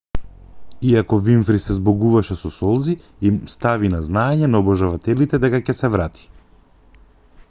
иако винфри се збогуваше со солзи им стави на знаење на обожавателите дека ќе се врати